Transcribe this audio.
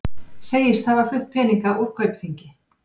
Segist hafa flutt peninga úr Kaupþingi